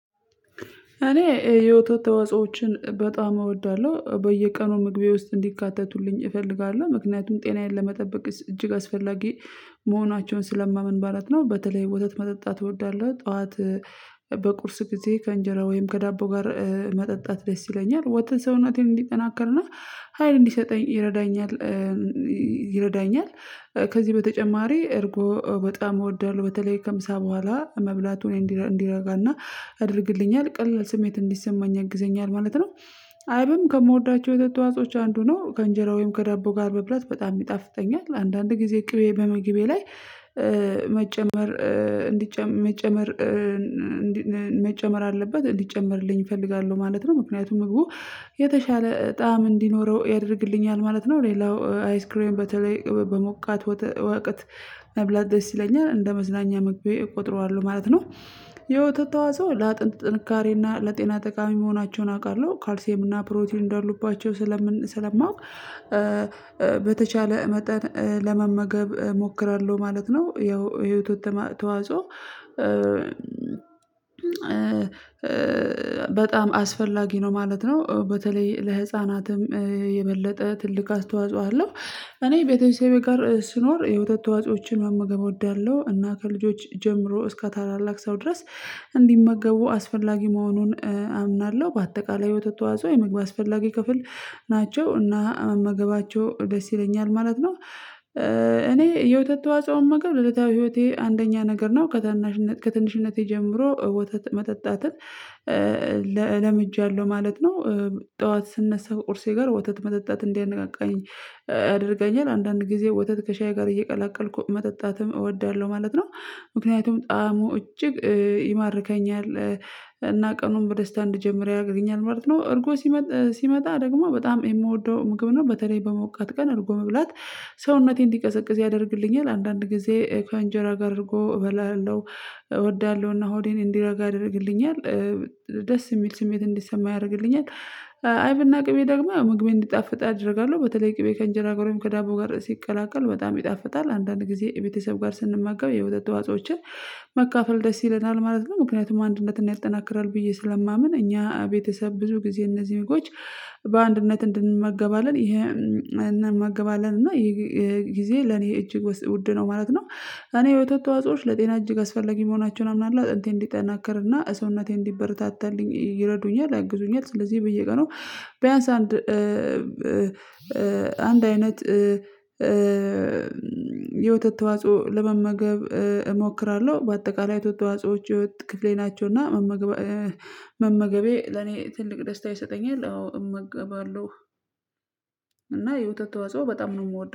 እኔ የወተት ተዋጾችን በጣም እወዳለሁ በየቀኑ ምግቤ ውስጥ እንዲካተቱልኝ እፈልጋለሁ ምክንያቱም ጤናዬን ለመጠበቅ እጅግ አስፈላጊ መሆናቸውን ስለማምን ማለት ነው። በተለይ ወተት መጠጣት እወዳለሁ። ጠዋት በቁርስ ጊዜ ከእንጀራ ወይም ከዳቦ ጋር መጠጣት ደስ ይለኛል ወተት ሰውነቴ እንዲጠናከርና ሀይል እንዲሰጠኝ ይረዳኛል። ይረዳኛል ከዚህ በተጨማሪ እርጎ በጣም እወዳለሁ በተለይ ከምሳ በኋላ መብላቱን እንዲረጋና ያደርግልኛል ቀልል ስሜት እንዲሰማኝ ያግዘኛል ማለት ነው። አይብም ከምወዳቸው የተት ተዋጾች አንዱ ነው። ከእንጀራው ወይም ከዳቦ ጋር መብላት በጣም ይጣፍጠኛል አንዳንድ ጊዜ ቅቤ በምግቤ ላይ መጨመር እንዲጨመር መጨመር መጨመር አለበት እንዲጨመርልኝ እፈልጋለሁ። ማለት ነው ምክንያቱም ምግቡ የተሻለ ጣዕም እንዲኖረው ያደርግልኛል ማለት ነው። ሌላው አይስክሬን በተለይ በሞቃት ወተ ወቅት መብላት ይለኛል እንደ መዝናኛ ምግቤ እቆጥረዋለሁ ማለት ነው። የወተት ተዋጾ ለአጥንት ጥንካሬ እና ለጤና ጠቃሚ መሆናቸውን አውቃለሁ ካልሲም እና ፕሮቲን እንዳሉባቸው ስለምን ስለማውቅ በተቻለ መጠን ለመመገብ እሞክራለሁ ማለት ነው። ይኸው የወተት ተዋጾ በጣም አስፈላጊ ነው ማለት ነው። በተለይ ለህፃናትም የበለጠ ትልቅ አስተዋጽኦ አለው። እኔ ቤተሰቤ ጋር ስኖር የወተት ተዋጽኦዎችን መመገብ እወዳለሁ እና ከልጆች ጀምሮ እስከ ታላላቅ ሰው ድረስ እንዲመገቡ አስፈላጊ መሆኑን አምናለሁ። በአጠቃላይ የውተት ተዋጽኦ የምግብ አስፈላጊ ክፍል ናቸው እና መመገባቸው ደስ ይለኛል ማለት ነው። እኔ የወተት ተዋጾ መመገብ ለለታዊ ህይወቴ አንደኛ ነገር ነው ከታናሽነቴ ከትንሽነቴ ጀምሮ ወተት መጠጣትን ለምጃለሁ ማለት ነው። ጠዋት ስነሳ ቁርሴ ጋር ወተት መጠጣት እንዲያነቃቃኝ ያደርገኛል አንዳንድ ጊዜ ወተት ከሻዬ ጋር እየቀላቀልኩ መጠጣትም እወዳለሁ ማለት ነው። ምክንያቱም ጣዕሙ እጅግ ይማርከኛል እና ቀኑን በደስታ እንድጀምር ያረግልኛል ማለት ነው። እርጎ ሲመጣ ሲመጣ ደግሞ በጣም የምወደው ምግብ ነው። በተለይ በሞቃት ቀን እርጎ መብላት ሰውነቴን እንዲቀዘቅዝ ያደርግልኛል አንዳንድ ጊዜ ከአንጀራ ጋር እርጎ እበላለሁ እወዳለሁና ሆዴን እንዲረጋ ያደርግልኛል ደስ የሚል ስሜት እንዲሰማኝ ያደርግልኛል። አይብና ቅቤ ደግሞ ምግቤን እንዲጣፍጥ አደርጋለሁ በተለይ ቅቤ ከእንጀራ ጋርም ከዳቦ ጋር ሲቀላቀል በጣም ይጣፍጣል። አንዳንድ ጊዜ ቤተሰብ ጋር ስንመገብ የወተት ተዋጾችን መካፈል ደስ ይለናል ማለት ነው። ምክንያቱም አንድነትና ያጠናክራል ብዬ ስለማምን እኛ ቤተሰብ ብዙ ጊዜ እነዚህን ምግቦች በአንድነት እንድንመገባለን ይሄንን እንመገባለን እና ይሄ ጊዜ ለኔ እጅግ ውድ ነው ማለት ነው። እኔ የወተት ተዋጾዎች ለጤና እጅግ አስፈለጊ መሆናቸውን አምናለሁ አጥንቴ እንዲጠናከርና ሰውነቴ እንዲበረታታልኝ ይረዱኛል ያግዙኛል ስለዚህ በየቀኑ ቢያንስ አንድ አንድ አይነት የወተት ተዋጽኦ ለመመገብ እሞክራለሁ። በአጠቃላይ የወተት ተዋጾዎች የህይዎት ክፍሌ ናቸው። እና መመገቤ ለኔ ትልቅ ደስታ ይሰጠኛል አዎ እመገባለሁ። እና የወተት ተዋጾ በጣም ነው የምወደው